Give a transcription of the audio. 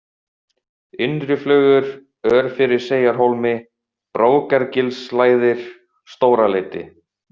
Innriflögur, Örfiriseyjarhólmi, Brókargilslægðir, Stóraleiti